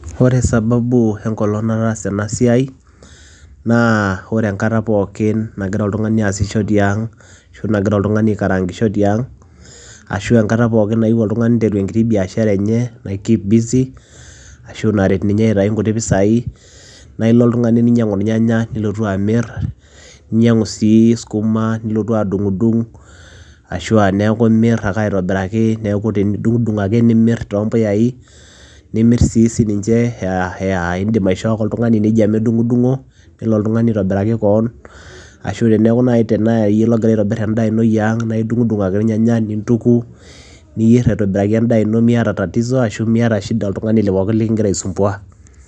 Ore sababu we nkolong' nataasa ena siai naa ore enkata pookin nagira oltung'ani aasisho tiang' ashu nagira oltung'ani aikaraankisho tiang' ashu enkata pookin nayeu oltung'ani niteru enkiti biashara enye naikeep busy asu naret ninye aitayu nkuti pisai naa ilo oltung'ani ninyang'u irnyanya nilotu amir, ninyang'u sii skuma nilotu adung'dung' ashu aa neeku imir aka aitobiraki, neeku idung'dung' ake nimir too mpuyai, nimir sii sininche ee aa ee iindim aishoo ake oltung'ani neija medung'o nelo oltung'ani aitobiraki koon ashu teneeku nai tenaa iyie logira aitobir endaa ino ee aang' naa idung'dung' ake irnyanya nintuku niyer aitobiraki endaa ino miyata tatizo ashu miyata shida oltung'ani pookin leking'ir aisumbua.